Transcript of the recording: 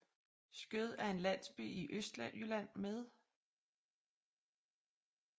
Skjød er en landsby i Østjylland med